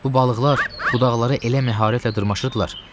Bu balıqlar budaqlara elə məharətlə dırmaşırdılar.